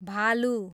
भालु